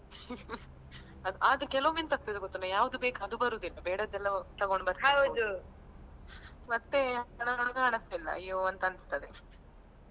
ಆದ್ರೂ ಕೆಲವೊಮ್ಮೆ ಎಂತ ಆಗ್ತದೆ ಗೊತ್ತುಂಟಾ ಯಾವ್ದು ಬೇಕು ಅದು ಬರುದಿಲ್ಲ ಬೇಡದ್ದೆಲ್ಲ ತಗೊಂಡು ಮತ್ತೆ ಮನಸಿಲ್ಲ ಅಯ್ಯೋ ಅಂತ ಅನಿಸ್ತದೆ .